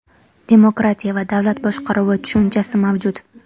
Demokratiya va davlat boshqaruvi tushunchasi mavjud.